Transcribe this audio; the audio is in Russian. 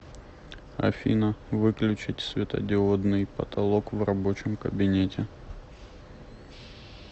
афина выключить светодиодный потолок в рабочем кабинете